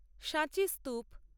সাঁচি স্তূপ